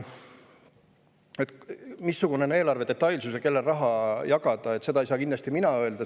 Seda, missugune on eelarve detailsus ja kellele raha jagada, ei saa kindlasti mina öelda.